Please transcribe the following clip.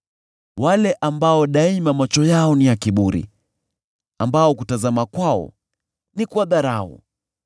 wale ambao daima macho yao ni ya kiburi, ambao kutazama kwao ni kwa dharau;